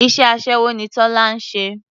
Iṣẹ́ aṣẹ́wó ni Tọ́lá ń ṣe.